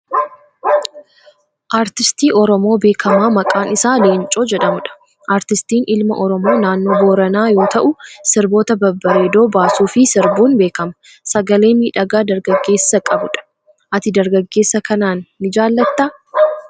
Artistii Oromoo beekamaa maqaan isaa Leencoo jedhamudha. Artistiin ilma Oromoo naannoo Booranaa yoo ta'u, sirboota babbareedoo baasuu fi sirbuun beekama. Sagalee miidhagaa dargaggeessa qabu dha. Ati dargaggeessa kanaan ni jaallattaa?